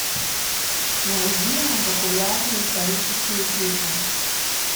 найди нам популярные исторические фильмы